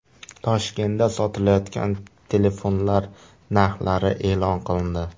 Toshkentda sotilayotgan telefonlar narxlari e’lon qilindi.